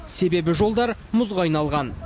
себебі жолдар мұзға айналған